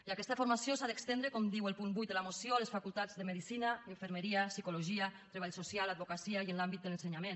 i aquesta formació s’ha d’estendre com diu el punt vuit de la moció a les facultats de medicina infermeria psicologia treball social advocacia i en l’àmbit de l’ensenyament